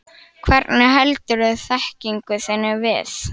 Hvernig heldurðu þekkingu þinni við?